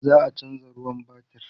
za'a chanza ruwan batir